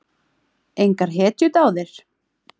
Engar hetjudáðir?